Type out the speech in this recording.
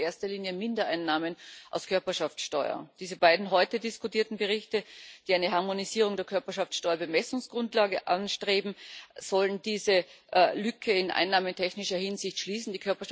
Das sind in erster Linie Mindereinnahmen aus der Körperschaftsteuer. Diese beiden heute diskutierten Berichte, die eine Harmonisierung der Körperschaftsteuer Bemessungsgrundlage anstreben, sollen diese Lücke in einnahmentechnischer Hinsicht schließen.